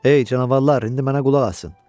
Ey canavarlar, indi mənə qulaq asın.